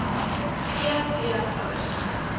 g v ouers